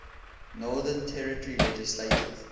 northern territory legislative